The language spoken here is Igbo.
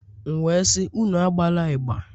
M wee sị, Unu agbala ịgbà